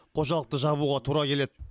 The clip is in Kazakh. қожалықты жабуға тура келеді